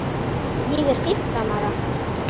Ég er fimmtán ára.